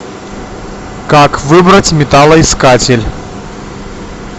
как выбрать металлоискатель